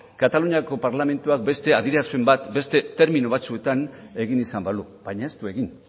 kataluniako parlamentua beste adierazpen bat beste termino batzuetan egin izan balu baina ez du egin